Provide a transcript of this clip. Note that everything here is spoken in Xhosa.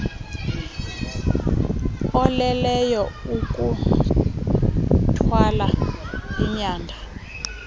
oleleyo kukuthwala inyanda